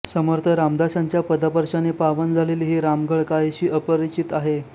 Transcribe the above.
समर्थ रामदासांच्या पदस्पर्शाने पावन झालेली ही रामघळ काहीशी अपरिचित आहे